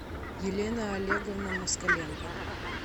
елена олеговна москаленко